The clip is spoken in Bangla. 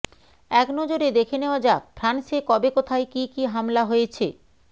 এক নজরে দেখে নেওয়া যাক ফ্রান্সে কবে কোথায় কী কী হামলা হয়েছে